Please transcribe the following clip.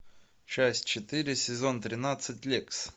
часть четыре сезон тринадцать лексс